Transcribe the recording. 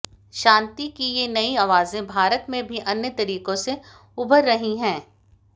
शांति की ये नई आवाजें भारत में भी अन्य तरीके से उभर रही हैं